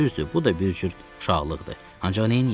Düzdür, bu da bir cür uşaqlıqdır, ancaq neyləyim?